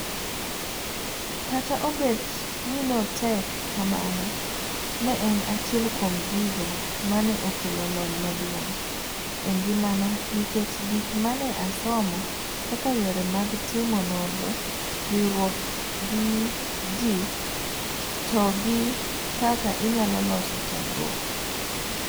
Kata obet ninotek kamano, ne en achiel kuom gigo mane okelo lony maduong' engimana nikech gik mane asomo kaka yore mag timo nonro, riwruok gi ji, togi kaka inyalo loso chandruok.